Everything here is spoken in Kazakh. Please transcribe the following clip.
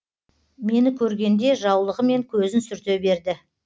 мені көргенде жаулығымен көзін сүрте берді